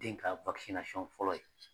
Den ka fɔlɔ ye